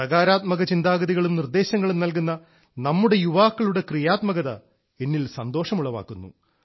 സാകാര്തമക ചിന്താഗതികളും നിർദ്ദേശങ്ങളും നൽകുന്ന നമ്മുടെ യുവാക്കളുടെ ക്രിയാത്മകത എന്നിൽ സന്തോഷം ഉളവാക്കുന്നു